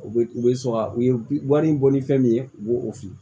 U bɛ u bɛ sɔn ka u ye wari in bɔ ni fɛn min ye u b'o o fili